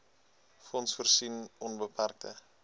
fonds voorsien onbeperkte